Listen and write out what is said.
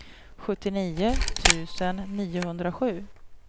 sjuttionio tusen niohundrasju